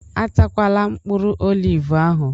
Atakwala mkpụrụ olivu ahụ!